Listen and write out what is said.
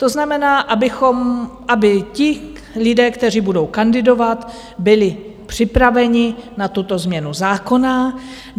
To znamená, aby ti lidé, kteří budou kandidovat, byli připraveni na tuto změnu zákona.